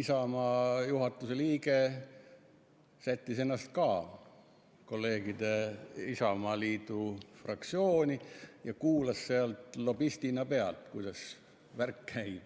Isamaa juhatuse liige sättis ennast ka kolleegide Isamaaliidu fraktsiooni ja kuulas sealt lobistina pealt, kuidas värk käib.